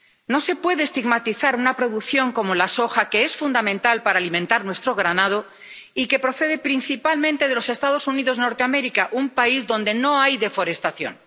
No se puede estigmatizar una producción como la soja, que es fundamental para alimentar a nuestro ganado y que procede principalmente de los Estados Unidos de Norteamérica, un país donde no hay deforestación.